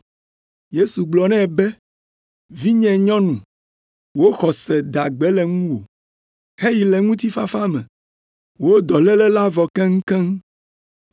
Yesu gblɔ nɛ be, “Vinyenyɔnu, wò xɔse da gbe le ŋuwò, heyi le ŋutifafa me, wò dɔléle la vɔ keŋkeŋ.”